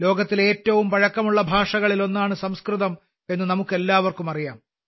ലോകത്തിലെ ഏറ്റവും പഴക്കമുള്ള ഭാഷകളിൽ ഒന്നാണ് സംസ്കൃതം എന്ന് നമുക്കെല്ലാവർക്കും അറിയാം